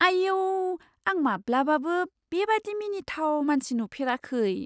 आइऔ! आं माब्लाबाबो बेबादि मिनिथाव मानसि नुफेराखै!